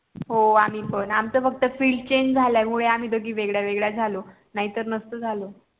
हो आम्ही पण आमच फक्त FIELD CHANGE मुळे आम्ही दोघी वेगळ्या वेगळ्या झालो नाही तर नसतो झालो